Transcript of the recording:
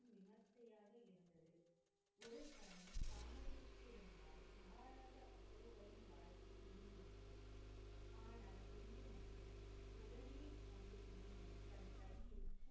விமர்சையாக இருந்தது. ஒரு கணம் தாமதித்திருந்தால் மகாராஜா அசோகரின் வாழ்க்கை முடிந்திருக்கும். ஆனால் ஒன்று மட்டுமே. உடனே அந்த இளைஞன் தன் கையில்,